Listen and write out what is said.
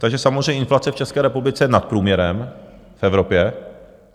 Takže samozřejmě inflace v České republice je nad průměrem v Evropě.